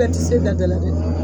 Fɛn tɛ se ka da la minɛ.